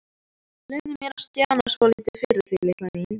Leyfðu mér að stjana svolítið við þig, litla mín.